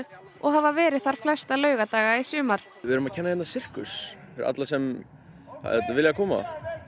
og hafa verið þar flesta laugardaga í sumar við erum að kenna hérna sirkus fyrir alla sem vilja koma